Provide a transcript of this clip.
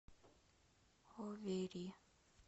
оверри